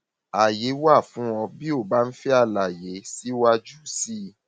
ààyè wà fún ọ bí ó bá ń fẹ àlàyé síwájú sí i